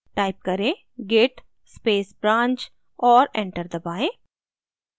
type करें: git space branch और enter दबाएँ